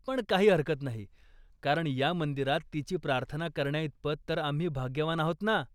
पण काही हरकत नाही, कारण या मंदिरात तिची प्रार्थना करण्याइतपत तर आम्ही भाग्यवान आहोत ना.